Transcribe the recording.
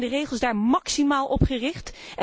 Zijn de regels daar maximaal op gericht?